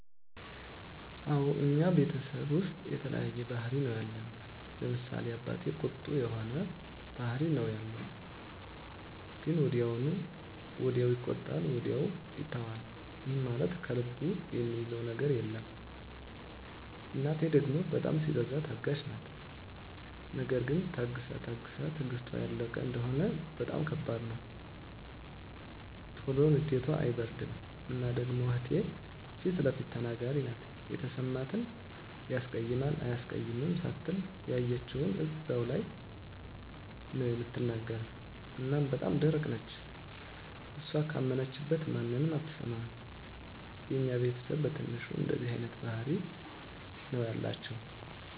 አወ እኛ ቤተሰብ ዉስጥ የተለያየ ባህሪ ነዉ ያለን፤ ለምሳሌ፦ አባቴ ቁጡ የሆነ ባህሪ ነዉ ያለዉ ግን ወዲያዉ ይቆጣል ወዲያዉ ይተወዋል ይህም ማለት ከልቡ እሚይዘዉ ነገር የለም፣ እናቴ ደሞ በጣም ሲበዛ ታጋሽ ናት ነገር ግን ታግሳ ታግሳ ትግስቷ ያለቀ እንደሆነ በጣም ከባድ ነዉ። ቶሎ ንዴቷ አይበርድም እና ደሞ እህቴ ፊለፊት ተናጋሪ ናት የተሰማትን ያስቀይማል አያስቀይምም ሳትል ያየችዉን እዛዉ ላይ ነዉ እምትናገር እና በጣም ደረቅ ነች እሷ ካመነችበት ማንንም አትሰማም። የኛ ቤተስብ በትንሹ እንደዚህ አይነት ባህሪ ነዉ ያላቸዉ።